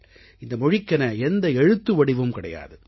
இந்த மொழிக்கென எந்த எழுத்துவடிவும் கிடையாது